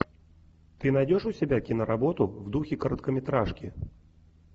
ты найдешь у себя киноработу в духе короткометражки